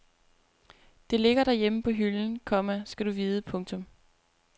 Det ligger derhjemme på hylden, komma skal du vide. punktum